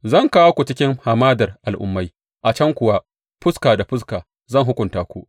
Zan kawo ku cikin hamadar al’ummai a can kuwa, fuska da fuska, zan hukunta ku.